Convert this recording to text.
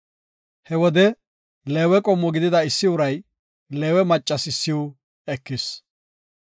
He wode Leewe qommo gidida issi uray Leewe maccas issiw ekis.